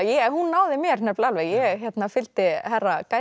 hún náði mér nefnilega alveg ég fylgdi herra